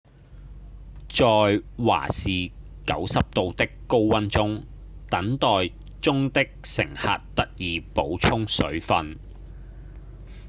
在華氏90度的高溫中等待中的乘客得以補充水份